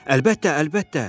Əlbəttə, əlbəttə!